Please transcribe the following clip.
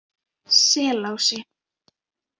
Selási